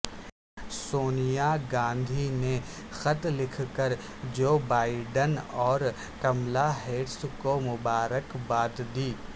سونیاگاندھی نے خط لکھ کر جو بائیڈن اور کملا ہیرس کو مبارکباد دی